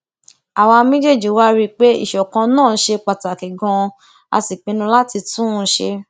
àwa méjèèjì wá rí i pé ìṣọkan náà ṣe pàtàkì ganan a sì pinnu láti tún un ṣe